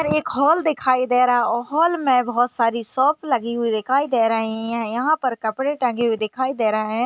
एक हॉल दिखाई दे रहा वो हॉल मे बहुत सारी शॉप लगी हुई दिखाई दे रही है यहाँ पर कपड़े टेंगे हुए दिखाई दे रही है।